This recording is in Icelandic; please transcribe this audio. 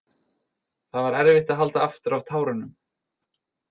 Það var erfitt að halda aftur af tárunum.